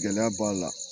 Gɛlɛya b'a la